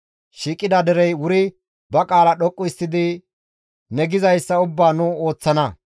Shiiqida derey wuri ba qaala dhoqqu histtidi «Ne gizayssa ubbaa nu ooththana!